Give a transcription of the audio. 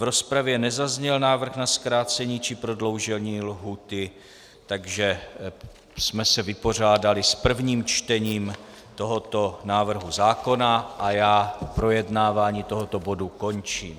V rozpravě nezazněl návrh na zkrácení či prodloužení lhůty, takže jsme se vypořádali s prvním čtením tohoto návrhu zákona a já projednávání tohoto bodu končím.